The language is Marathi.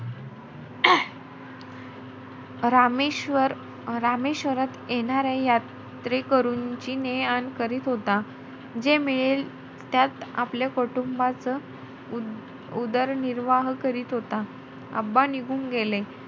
रामेश्वर~ रामेश्वरात येणाऱ्या यात्रेकरूंची ने-आण करीत होता. जे मिळेल त्यात आपल्या कुटुंबाचा उद~ उदरनिर्वाह करत होता. निघून गेले.